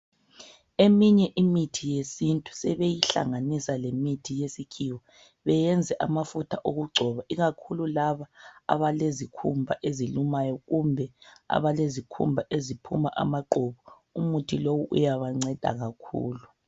Eminye imithi yesintu sebeyihlanganisa lemithi yesikhiwa beyenze amafutha okugcoba ikakhulu laba abalezikhumba ezilumayo kumbe abalezikhumba eziphuma amaqubu umuthi lowu uyawanceda kakhulu.